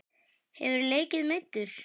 Hefurðu leikið meiddur?